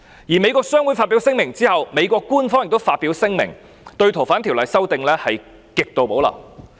在美國商會發表聲明後，美國官方也發表聲明，對該條例的修訂也是極度保留。